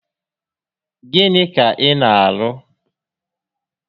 Gịnị ka ị na arụ?